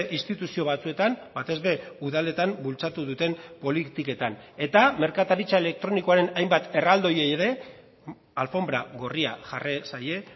instituzio batzuetan batez ere udaletan bultzatu duten politiketan eta merkataritza elektronikoaren hainbat erraldoiei ere alfonbra gorria jarri zaie